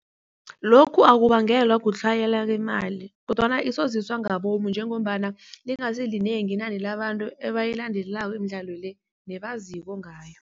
Lokhu akubangelwa kutlhayela kwemali kodwana isoziswa ngabomu njengombana lingasilinengi inani labantu ebayilandelelako imidlalo le nabaziko ngayo.